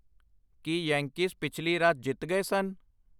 ਕੀ Yankees ਪਿਛਲੀ ਰਾਤ ਜਿੱਤ ਗਏ ਸਨ